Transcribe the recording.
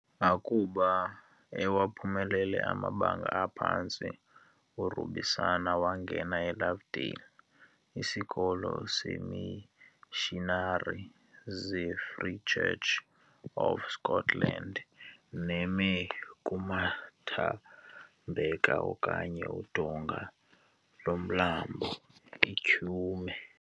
Akuba ewaphumelele amabanga aphantsi, uRubusana wangena eLovedale, isikolo seemishinari zeFree Church of Scotland neme kumathambeka okanye udonga lomlambo iTyhume.